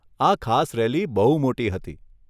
આ ખાસ રેલી બહુ મોટી હતી.